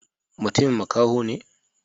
Matumin makaho ne?